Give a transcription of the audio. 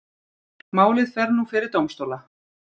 Málið fer nú fyrir dómstóla